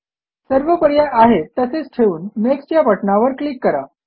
सर्व पर्याय आहेत तसेच ठेवून नेक्स्ट या बटणावर क्लिक करा